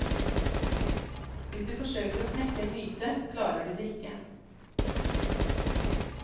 Hvis du forsøker å knekke en myte, klarer du det ikke.